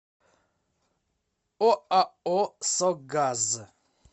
оао согаз